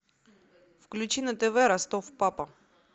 включи на тв ростов папа